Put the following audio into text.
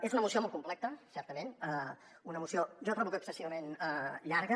és una moció molt complexa certament una moció jo trobo que excessivament llarga